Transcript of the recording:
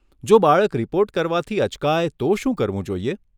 જો બાળક રિપોર્ટ કરવાથી અચકાય તો શું કરવું જોઈએ?